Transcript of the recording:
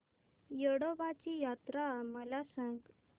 येडोबाची यात्रा मला सांग